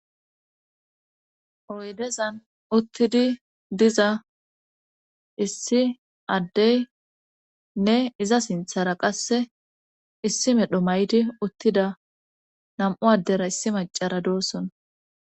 oydezan uttidi diza issi addey nne iza sinthara qasse issi medho mayti uttida nam7u addera issi macara doosson